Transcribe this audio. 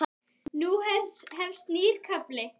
Nú hefst nýr kafli.